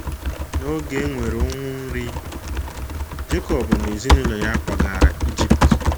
N’oge e nwere ụnwụ nri, Jekọb na ezinụlọ ya kwagara Ijipt.